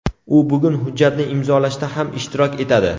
U bugun hujjatni imzolashda ham ishtirok etadi.